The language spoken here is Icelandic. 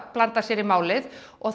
blandað sér í málið og